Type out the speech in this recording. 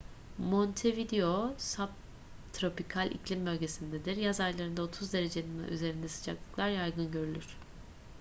montevideo subtropikal iklim bölgesindedir. yaz aylarında 30°c'nin üzerinde sıcaklıklar yaygın görülür